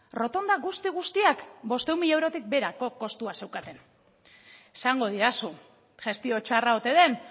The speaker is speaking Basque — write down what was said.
rotonda guzti guztiak bostehun mila eurotik beherako kostua zeukaten esango didazu gestio txarra oten den